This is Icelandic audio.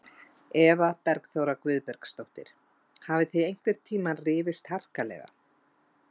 Eva Bergþóra Guðbergsdóttir: Hafið þið einhvern tíma rifist harkalega?